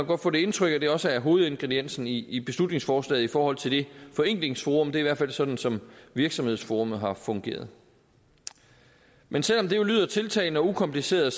godt få det indtryk at det også er hovedingrediensen i i beslutningsforslaget i forhold til det forenklingsforum det er i hvert fald sådan som virksomhedsforummet har fungeret men selv om det jo lyder tiltalende og ukompliceret